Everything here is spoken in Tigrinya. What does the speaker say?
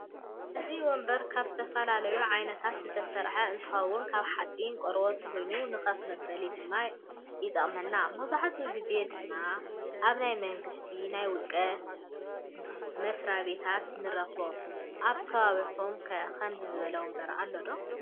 እዚ ወንበር ካብ ዝተፈላለዩ ዓይነታት ዝተሰርሐ እንትኮን ካብ ሓፂን ቆርቦትን ኮይኑ ንከፍ መበሊ ድማ ይጠቅመና መብዛሕቲኡ ግዜ ድማ አብ ናይ መንግስትን ናይ ውልቀን መስራቤታት ንረክቦ አብ ከባቢኩም ከ ከምዚ ዝበለ ወንበር አሎ ዶ?